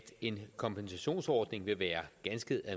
en kompensationsordning vil være ganske